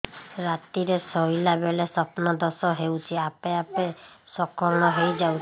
ରାତିରେ ଶୋଇଲା ବେଳେ ସ୍ବପ୍ନ ଦୋଷ ହେଉଛି ଆପେ ଆପେ ସ୍ଖଳନ ହେଇଯାଉଛି